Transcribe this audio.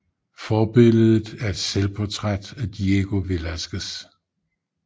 Forbilledet er et selvportræt af Diego Velázquez